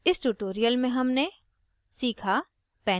इस tutorial में हमने सीखा